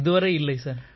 இல்லை சார்